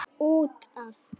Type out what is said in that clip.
Út af.